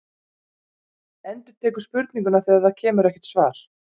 Endurtekur spurninguna þegar það kemur ekkert svar.